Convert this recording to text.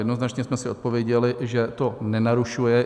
Jednoznačně jsme si odpověděli, že to nenarušuje.